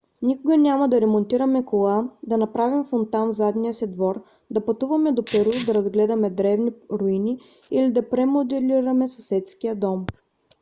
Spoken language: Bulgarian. никога няма да ремонтираме кола да направим фонтан в задния ни двор да пътуваме до перу да разгледаме древни руини или да премоделираме съседския дом